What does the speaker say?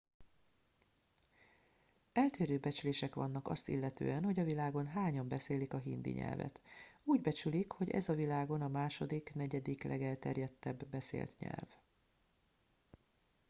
eltérő becslések vannak azt illetően hogy a világon hányan beszélik a hindi nyelvet úgy becsülik hogy ez a világon a második negyedik legelterjedtebb beszélt nyelv